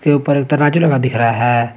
के ऊपर एक तराजू लगा दिख रहा है।